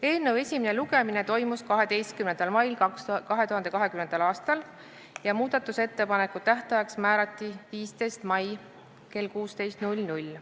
Eelnõu esimene lugemine toimus 12. mail 2020. aastal ja muudatusettepanekute tähtajaks määrati 15. mai kell 16.